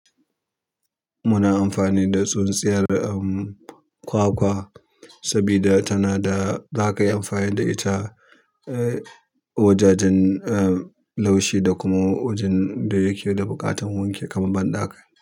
Muna amfani da tsintsiyar kwakwa, sabida tana da, zaka iya amfani da ita wajajen laushi da kuma wajen da yake buƙatar wanki kaman ban.